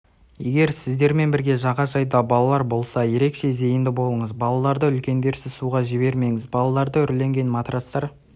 егер сіздермен бірге жағажайда балалар болса ерекше зейінді болыңыз балаларды үлкендерсіз суға жібермеңіз балаларды үрленген матрацтар